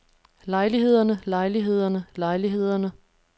lejlighederne lejlighederne lejlighederne